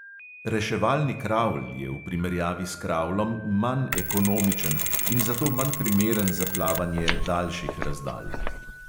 Reševalni kravl je v primerjavi s kravlom manj ekonomičen in zato manj primeren za plavanje daljših razdalj.